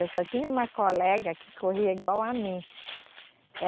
Eu só tinha uma colega que corria igual a mim.